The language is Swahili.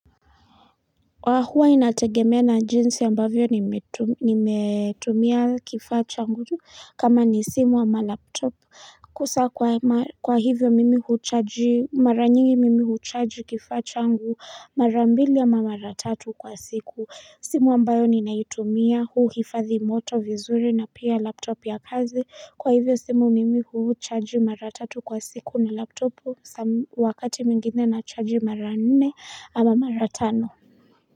Kwa huwa inategemea na jinsi ambavyo nimetumia kifaa changu kama ni simu ama laptopu Kusa kwa hivyo mimi huchaji mara nyingi mimi huchaji kifaa changu mara mbili ama mara tatu kwa siku simu ambayo ninaitumia huu hifadhi moto vizuri na pia laptop ya kazi kwa hivyo simu mimi huchaji mara tatu kwa siku na laptopu wakati mingine na chaji mara nne ama mara tano.